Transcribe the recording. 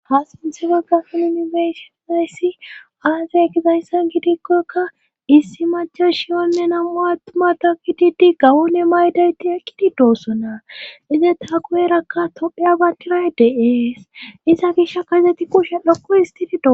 Hasinsefe gafen unifesisayssi aazay ekizayssan gidikkoykka issi machas shiyonne namu attumada kididi gawone maydayti ekkididossona ize taa kuherakka topphe abankiray deees isa gisha kazeti kushe lokko histidido